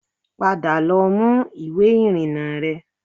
Padà lọ mú ìwé ìrìnnà rẹ